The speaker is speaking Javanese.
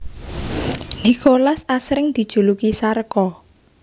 Nicolas asring dijuluki Sarko